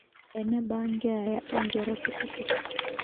eneba keeya oonkera kutitik